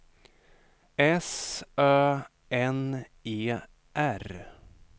S Ö N E R